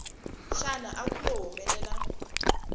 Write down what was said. xana a ku lo humelela